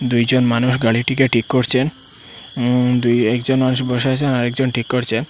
দুইজন মানুষ গাড়িটিকে ঠিক করছেন উম দুই একজন মানুষ বসে আছেন আর একজন ঠিক করছেন।